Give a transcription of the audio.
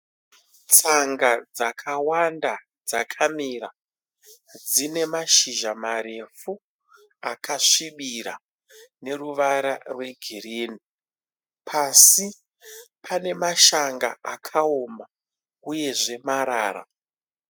Tsanga dzakawanda dzakamira dzine mashizha marefu akasvibira neruvara rweegirini. Pasi pane mashanga akaoma uyezve marara.